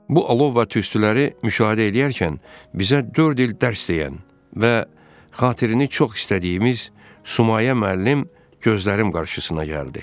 Bu alov və tüstüləri müşahidə eləyərkən bizə dörd il dərs deyən və xatirini çox istədiyimiz Sumayə müəllim gözlərim qarşısına gəldi.